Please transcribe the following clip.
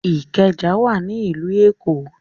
Ìkẹjà wà ní ìlú Èkó.